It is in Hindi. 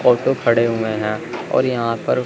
ऑटो खड़े हुए हैं और यहां पर--